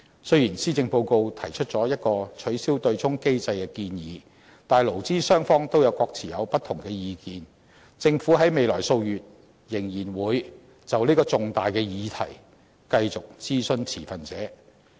雖然施政報告提出了一個取消對沖機制的建議，但勞資雙方都各有不同意見，政府在未來數月仍然會就這個重大的議題繼續諮詢持份者。